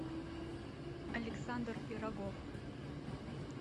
александр пирогов